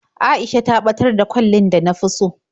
A'isha ta ɓatar da kwallin da na fi so.